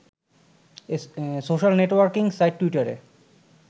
social networking site টুইটারে